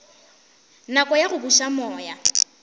nako ya go buša moya